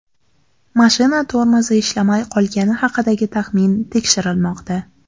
Mashina tormozi ishlamay qolgani haqidagi taxmin tekshirilmoqda.